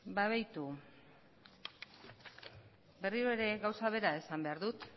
begiratu berriro ere gauza bera esan behar dut